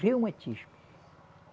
Reumatismo.